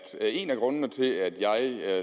en af grundene til at jeg